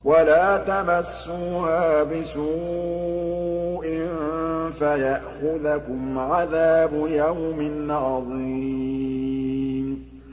وَلَا تَمَسُّوهَا بِسُوءٍ فَيَأْخُذَكُمْ عَذَابُ يَوْمٍ عَظِيمٍ